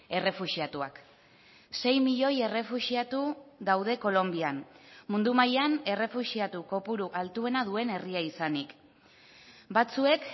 errefuxiatuak sei milioi errefuxiatu daude kolonbian mundu mailan errefuxiatu kopuru altuena duen herria izanik batzuek